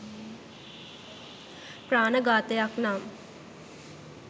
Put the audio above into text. ප්‍රාණඝාතයක් නම්